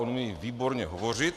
On umí výborně hovořit.